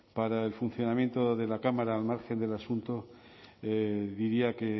para el funcionamiento de la cámara al margen del asunto diría que